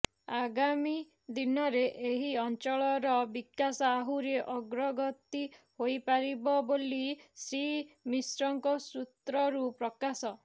ଆଗାମୀଦିନରେଏହି ଅଂଚଳର ବିକାଶ ଆହୁରି ଅଗ୍ରଗତି ହୋଇପାରିବ ବୋଲି ଶ୍ରୀ ମିଶ୍ରଙ୍କ ସୂତ୍ରରୁ ପ୍ରକାଶ